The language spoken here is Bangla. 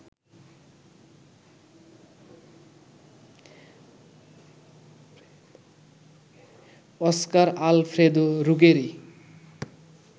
Oscar Alfredo Ruggeri